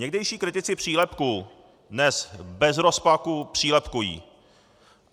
Někdejší kritici přílepků dnes bez rozpaků přílepkují.